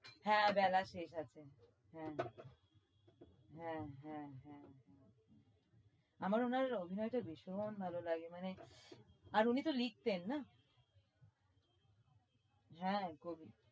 হ্যাঁ বেলা শেষ আছে হ্যাঁ হ্যাঁ হ্যাঁ হ্যাঁ হ্যাঁ আমার উনার অভিনয়টা ভীষণ ভাল লাগে মানে আর উনি তো লিখতেন না? হ্যাঁ কবি